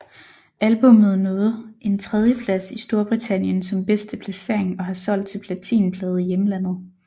Albummet nåede en tredjeplads i Storbritannien som bedste placering og har solgt til platinplade i hjemlandet